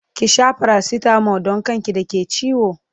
ki Sha paracetamol Dan kan ki da ke ciwo!